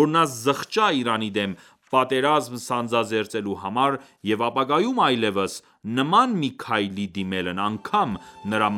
որ նա զղջա Իրանի դեմ պատերազմ սանձազերծելու համար և ապագայում այլևս, նման մի քայլի դիմելն անգամ նրա